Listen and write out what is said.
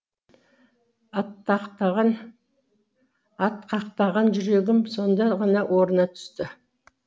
атқақтаған жүрегім сонда ғана орнына түсті